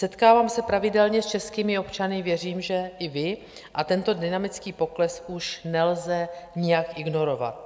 Setkávám se pravidelně s českými občany, věřím, že i vy, a tento dynamický pokles už nelze nijak ignorovat.